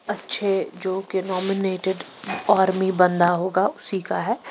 अच्छे जो कि नॉमिनेटेड आर्मी बंदा होगा उसी का है।